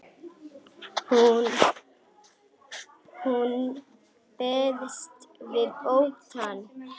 Hún berst við óttann.